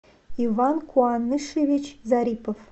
иван куанышевич зарипов